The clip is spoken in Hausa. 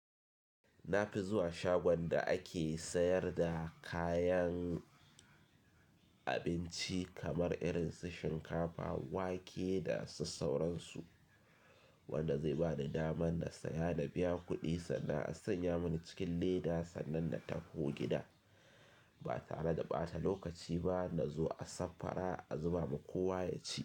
Na fi zuwa shagon da ake sayar da kayan abinci kamar irin su shinkafa, wake da su sauransu wanda zai ba ni daman na saya na biya kuɗi sannan a sanya mani cikin leda sannan na taho gida ba tare da ɓata lokaci ba. Na zo a saffara a zuba ma kowa ya ci.